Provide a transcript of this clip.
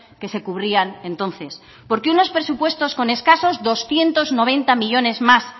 que se cubrían entonces porque unos presupuestos con escasos doscientos noventa millónes más